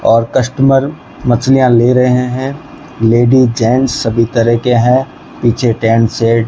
और कस्टमर मछलियां ले रहे हैं लेडिस जेंट्स सभी तरह के हैं पीछे टेंट सेट --